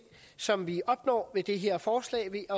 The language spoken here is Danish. som vi opnår med det her forslag